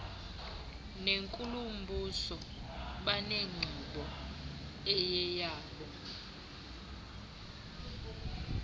nenkulumbuso banenkqubo eyeyabo